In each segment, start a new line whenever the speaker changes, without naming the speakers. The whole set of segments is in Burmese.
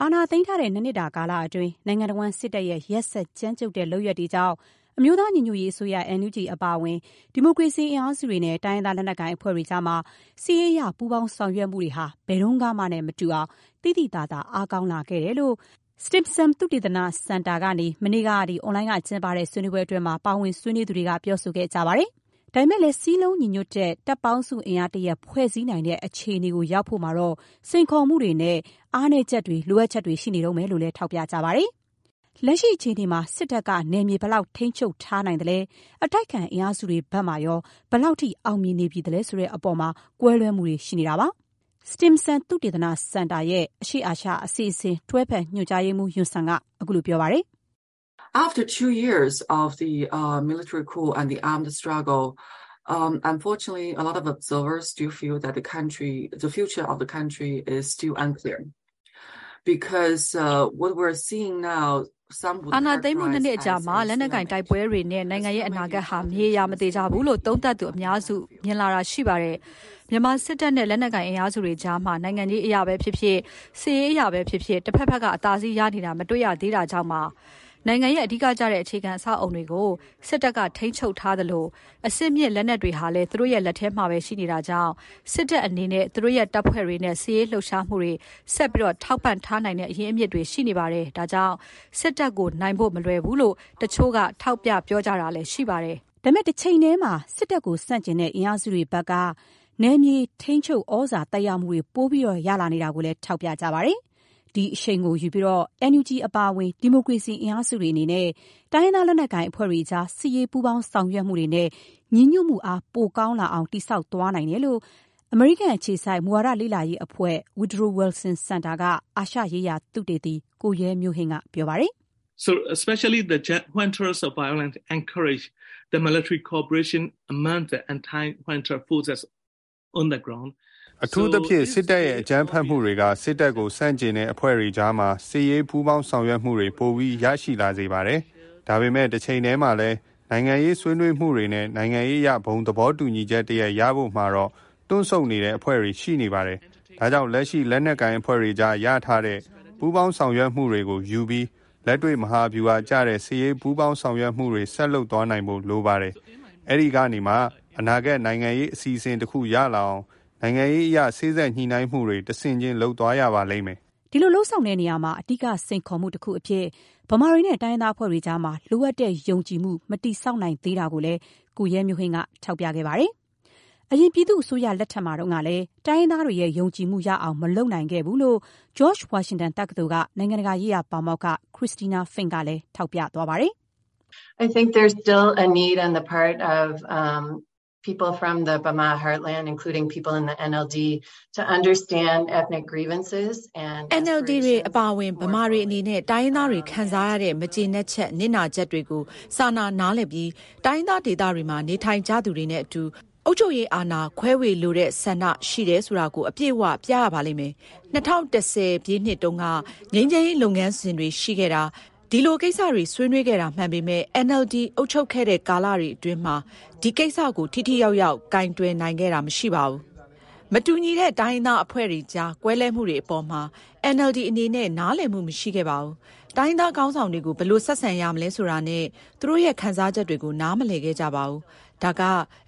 အာဏာသိမ်းထားတဲ့ ၂ နှစ်တာ ကာလအတွင်း နိုင်ငံတဝန်း စစ်တပ်ရဲ့ ရက်စက်ကြမ်းကြုတ်တဲ့ လုပ်ရပ်တွေကြောင့် အမျိုးသား ညီညွတ်ရေးအစိုးရ NUG အပါအဝင် ဒီမိုကရေစီ အင်အားစုတွေနဲ့ တိုင်းရင်းသား လက်နက်ကိုင် အဖွဲ့တွေကြားမှာ စစ်ရေး ပူးပေါင်း ဆောင်ရွက်မှုတွေဟာ ဘယ်တုန်းကမှနဲ့မတူအောင် သိသိသာသာ အားကောင်းလာခဲ့တယ်လို့ မနေ့က Stimson သုတေသနစင်တာက ကျင်းပတဲ့ အွန်လိုင်း ဆွေးနွေးပွဲမှာ ပါဝင် ဆွေးနွေးသူတွေက ပြောဆိုကြပါတယ်။ ဒါပေမဲ့လည်း စုစည်းညီညွတ်တဲ့ တပ်ပေါင်းစုအင်အား တရပ် ဖွဲ့စည်းနိုင်တဲ့ အခြေအနေကို ရောက်ဖို့မှာတော့ စိန်ခေါ်မှုတွေနဲ့ အားနည်းချက်တွေ ရှိနေတုန်းပဲလို့လည်း ထောက်ပြကြပါတယ်။ လက်ရှိအခြေအနေမှာ စစ်တပ်က နယ်မြေ ဘယ်လောက်အထိ ထိန်းချုပ်ထား နိုင်သလဲ၊ အတိုက်အခံ အင်အားစုတွေ ဘက်မှာရော ဘယ်လောက်အထိ အောင်မြင်နေပြီလဲ ဆိုတဲ့အပေါ်မှာလည်း ကွဲလွဲမှုတွေ ရှိနေပါတယ်။ ဒါနဲ့ပတ်သက်လို့ Stimson သုတေသနစင်တာရဲ့ အရှေ့အာရှ အစီအစဉ် တွဲဖက်ညွန်ကြားရေးမှူး Yun Sun က ပြောပါတယ်။
“အာဏာသိမ်းမှု ၂ နှစ်အကြာ
မှာ လက်နက်ကိုင်တိုက်ပွဲတွေနဲ့ နိုင်ငံရဲ့အနာဂတ်ဟာ မသေချာမရေရာဘူးလို့ သုံးသပ်သူ အများစုက မြင်လာကြတာ ရှိပါတယ်။ မြန်မာစစ်တပ်နဲ့ လက်နက်ကိုင်အင်အားစုတွေကြားမှာ နိုင်ငံရေး အရပဲဖြစ်ဖြစ်၊ စစ်ရေးအရပဲ ဖြစ်ဖြစ် တဘက်ဘက်က အသာစီးရနေတာ မတွေ့ရသေးတာကြောင့်ပါ။ နိုင်ငံရဲ့ အဓိကကျတဲ့ အခြေခံ အဆောက်အအုံတွေကို စစ်တပ်က ထိန်းချုပ်ထားသလို၊ အဆင့်မြင့်လက်နက်တွေဟာလည်း သူတို့လက်ထဲမှာပဲ ရှိနေတာကြောင့် စစ်တပ်အနေနဲ့ သူတို့ရဲ့ တပ်ဖွဲ့တွေနဲ့ စစ်ရေးလှုပ်ရှားမှုတွေ ဆက်ပြီး ထောက်ပံ့ထားနိုင်တဲ့ အရင်းအမြစ်တွေ ရှိနေတယ်။ ဒါကြောင့် စစ်တပ်ကို နိုင်ဖို့ မလွယ်ဘူးလို့ တချို့က ထောက်ပြလာကြ
တာပါ။” ဒါပေမဲ့ တချိန်တည်းမှာ စစ်တပ်ကို ဆန့်ကျင်တဲ့ အင်အားစုတွေဘက်က နယ်မြေ ထိန်းချုပ် သြဇာ သက်ရောက်မှုတွေ ပို ရလာနေတာကိုလည်း ထောက်ပြကြပါတယ်။ ဒီအရှိန်ကိုယူပြီး NUG အပါအဝင် ဒီမိုကရေစီအင်အားစုတွေနဲ့ တိုင်းရင်းသား လက်နက်ကိုင် အဖွဲ့တွေကြား စစ်ရေး ပူးပေါင်းဆောင်ရွက်မှုတွေနဲ့ ညီညွတ်မှုအား ပိုရလာအောင် တည်ဆောက်သွားနိုင်တယ်လို့ အမေရိကန်အခြေစိုက် မူဝါဒလေ့လာရေးအဖွဲ့ Woodrow Wilson Center က အာရှရေးရာ သုတေသီ ကိုရဲမျိုးဟိန်းက ပြောပါတယ်။ “
အထူးသဖြင့် စစ်တပ်ရဲ့ အကြမ်းဖက်မှုတွေက စစ်တပ်ကိုဆန့်ကျင်တဲ့ အဖွဲ့တွေကြားမှာ စစ်ရေး ပူးပေါင်း ဆောင်ရွက်မှုတွေ ပိုပြီး ရရှိလာစေပါတယ်။ ဒါပေမဲ့ တချိန်တည်းမှာလည်း နိုင်ငံရေး ဆွေးနွေးမှုတွေနဲ့ နိုင်ငံရေးအရ ဘုံသဘောတူညီချက်တရပ် ရဖို့မှာတော့ တွန့်ဆုတ်နေတဲ့ အဖွဲ့တွေ ရှိနေပါတယ်။ ဒါကြောင့် လက်ရှိ လက်နက်ကိုင် အဖွဲ့တွေအကြား ရထားတဲ့ ပူးပေါင်း ဆောင်ရွက်မှုတွေကို ယူပြီး လက်တွေ့ မဟာဗျူဟာကျတဲ့ စစ်ရေး ပူးပေါင်းဆောင်ရွက်မှုတွေ ဆက်လုပ်သွားနိုင်ဖို့ လိုပါတယ်။ အဲဒီကနေမှ အနာဂတ် နိုင်ငံရေးအစီအစဉ် တခု ရလာအောင် နိုင်ငံရေးအရ စေ့စပ်ညှိနှိုင်းမှုတွေ တဆင့်ချင်း လုပ်သွားရပါလိမ့်မယ်
။” ဒီလို လုပ်ဆောင်တဲ့နေရာမှာ အဓိက စိန်ခေါ်မှုတခုအဖြစ် ဗမာတွေနဲ့ တိုင်းရင်သားအဖွဲ့တွေကြားမှာ လိုအပ်တဲ့ ယုံကြည်မှု မတည်ဆောက်နိုင်သေး တာကိုလည်း ကိုရဲမျိုးဟိန်းက ထောက်ပြခဲ့ပါတယ်။ အရင် ပြည်သူ့အစိုးရ လက်ထက်မှာလည်း တိုင်းရင်းသားတွေရဲ့ ယုံကြည်မှု ရအောင် မလုပ်နိုင်ခဲ့ဘူးလို့ George Washington တက္ကသိုလ်က နိုင်ငံတကာရေးရာ ပါမောက္ခ Christina Fink ကလည်း ထောက်ပြပါတယ်။ “NLD
တွေ အပါ
အဝင် ဗမာတွေ အနေနဲ့ တိုင်းရင်းသားတွေ ခံစားရတဲ့ မကျေနပ်ချက် နစ်နာချက်တွေကို စာနာနားလည်ပြီး တိုင်းရင်းသား ဒေသတွေမှာ နေထိုင်ကြသူတွေနဲ့အတူ အုပ်ချုပ်ရေးအာဏာ ခွဲဝေလိုတဲ့ ဆန္ဒရှိတယ်ဆိုတာကို အပြည့်အ၀ ပြရပါလိမ့်မယ်။ ၂၀၁၀ ခုနှစ်တုန်းက ငြိမ်းချမ်းရေး လုပ်ငန်းစဉ်တွေ ရှိခဲ့တာ၊ ဒီလိုကိစ္စတွေ ဆွေးနွေးခဲ့တာ မှန်ပေမဲ့ NLD အုပ်ချုပ်ခဲ့တဲ့ ကာလအတွင်းမှာ ဒီကိစ္စကို ထိထိရောက်ရောက် ကိုင်တွယ်နိုင်ခဲ့တာ မရှိပါဘူး။ မတူညီတဲ့ တိုင်းရင်းသားအဖွဲ့တွေကြား ကွဲလွဲမှုတွေ အပေါ်မှာ NLD အနေနဲ့ နားလည်မှု မရှိခဲ့ပါဘူး။ တိုင်းရင်းသား ခေါင်းဆောင်တွေ ကို ဘယ်လို ဆက်ဆံရမလဲ ဆိုတာနဲ့ သူတို့ရဲ့ ခံစားချက်တွေကို နားမလည်ခဲ့ကြပါဘူး။ ဒါက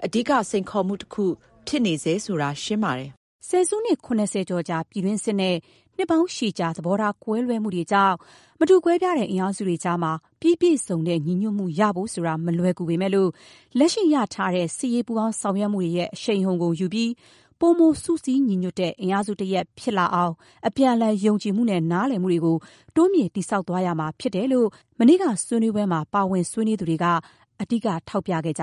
အဓိက စိန်ခေါ်မှုတခု ဖြစ်နေဆဲဆိုတ
ာ ရှင်းပါတယ်။” ဆယ်စုနှစ် ၇၀ ကျော်ကြာ ပြည်တွင်းစစ်နဲ့ နှစ်ပေါင်းရှည်ကြာ သဘောထား ကွဲလွဲမှုတွေကြောင့် မတူကွဲပြားတဲ့ အင်အားစုတွေကြားမှာ ပြီးပြည့်စုံတဲ့ ညီညွတ်မှု ရဖို့ဆိုတာ မလွယ်ပေမဲ့၊ လက်ရှိ ရရှိထားတဲ့ စစ်ရေး ပူးပေါင်းဆောင်ရွက်မှုတွေရဲ့ အရှိန်အဟုန်ကို ယူပြီး ပိုမို စုစည်းညီညွတ်တဲ့ အင်အားစုတရပ် ဖြစ်လာအောင် အပြန်အလှန် ယုံကြည်မှုနဲ့ နားလည်မှုတွေ တိုးမြှင့် တည်ဆောက်သွားရမှာ ဖြစ်တယ်လို့ မနေ့က ဆွေးနွေးပွဲမှာ ပါဝင်သူတွေက အဓိက ထောက်ပြခဲ့ကြ